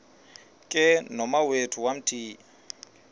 ke nomawethu wamthiya